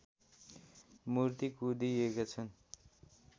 मूर्ति कुँदिएका छन्